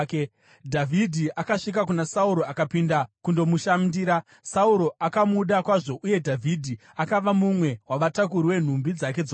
Dhavhidhi akasvika kuna Sauro akapinda kundomushandira. Sauro akamuda kwazvo, uye Dhavhidhi akava mumwe wavatakuri venhumbi dzake dzokurwa.